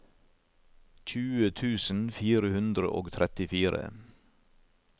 tjue tusen fire hundre og trettifire